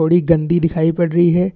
थोड़ी गन्दी दिखाई पड़ रही है।